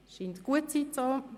– Das ist nicht der Fall.